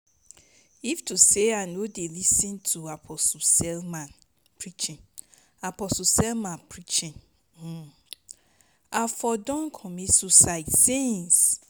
if to say i no dey lis ten to apostle selman preaching apostle selman preaching i for don commit suicide since